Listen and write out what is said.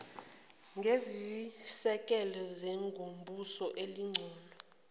ngezisekelo zengomuso elingcono